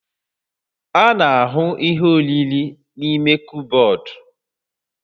A na-ahụ ihe oriri n'ime kọbọd